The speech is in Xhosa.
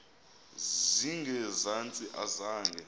zinge zantsi akazange